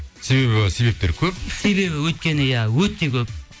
себебі себептер көп себебі өйткені иә өте көп